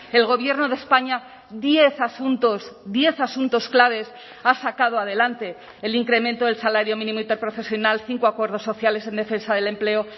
el gobierno de españa diez asuntos diez asuntos claves ha sacado adelante el incremento del salario mínimo interprofesional cinco acuerdos sociales en defensa del empleo